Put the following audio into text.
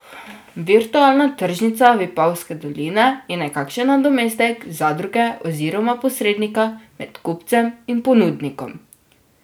Virtualna tržnica Vipavske doline je nekakšen nadomestek zadruge oziroma posrednika med kupcem in ponudnikom.